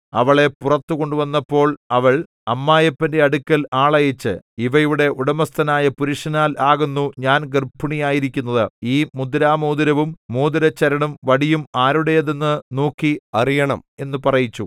അവളെ പുറത്തു കൊണ്ടുവന്നപ്പോൾ അവൾ അമ്മായപ്പന്റെ അടുക്കൽ ആളയച്ച് ഇവയുടെ ഉടമസ്ഥനായ പുരുഷനാൽ ആകുന്നു ഞാൻ ഗർഭിണിയായിരിക്കുന്നത് ഈ മുദ്രമോതിരവും മോതിരച്ചരടും വടിയും ആരുടേത് എന്നു നോക്കി അറിയണം എന്നു പറയിച്ചു